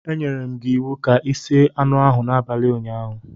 Enyerem gi iwu ka i sie anu ahu n'abali unyaahu